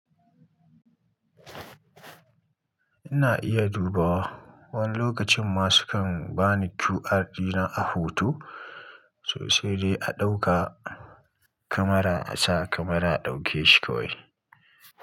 Ina iya dubawa wani lokacin ma sukan bani QR dina a hoto sosai dai a ɗauka kamara a sa kamara a ɗaukeshi kawai.